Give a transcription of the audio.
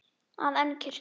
að en kirkju.